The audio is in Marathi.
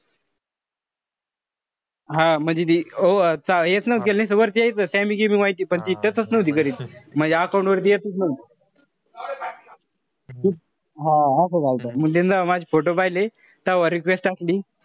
हा म्हणजे ती हेच नव्हतं केलं नुसतं वरती यायचं sammy gimmy vigy. पण ती touch च नव्हती करीत. म्हणजे account वर येतच नव्हतं. हा असच झालंत. मंग तिनं जव्हा माझे photo पहिले तव्हा request टाकली.